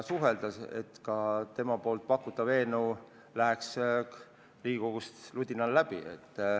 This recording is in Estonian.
Sel juhul oleks olnud kindel, et tema pakutav eelnõu läheb Riigikogus ludinal läbi.